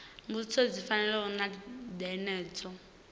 mbudziso dzi fanaho na dzenedzo